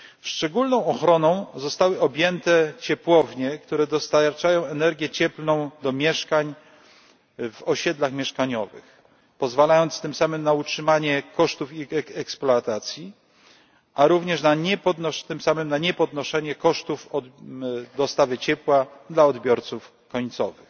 Szczególną ochroną zostały objęte ciepłownie, które dostarczają energię cieplną do mieszkań w osiedlach mieszkaniowych pozwalając tym samym na utrzymanie kosztów ich eksploatacji, a również tym samym na niepodnoszenie kosztów dostawy ciepła dla odbiorców końcowych.